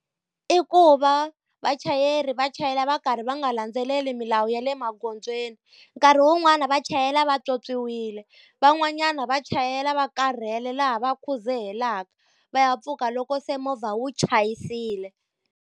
I ku va vachayeri va chayela va karhi va nga landzeleli milawu ya le magondzweni. Nkarhi wun'wani va chayela vatswotswiwile, van'wanyana va chayela va karhele laha va khuzehelaka va ya pfuka loko se movha wu chayisile.